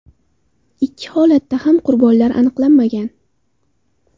Ikkala holatda ham qurbonlar aniqlanmagan.